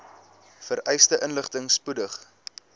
vereiste inligting spoedig